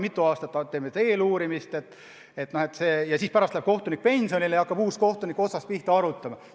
Mitu aastat teeme eeluurimist ja siis läheb kohtunik pensionile ja uus kohtunik hakkab asja otsast pihta arutama.